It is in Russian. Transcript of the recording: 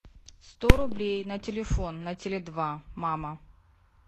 сто рублей на телефон на теле два мама